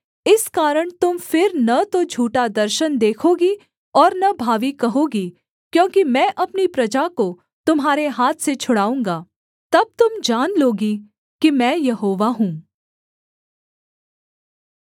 इस कारण तुम फिर न तो झूठा दर्शन देखोगी और न भावी कहोगी क्योंकि मैं अपनी प्रजा को तुम्हारे हाथ से छुड़ाऊँगा तब तुम जान लोगी कि मैं यहोवा हूँ